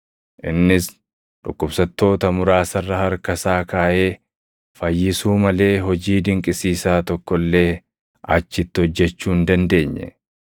Innis dhukkubsattoota muraasa irra harka isaa kaaʼee fayyisuu malee hojii dinqisiisaa tokko illee achitti hojjechuu hin dandeenye.